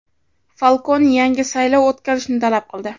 Falkon yangi saylov o‘tkazishni talab qildi.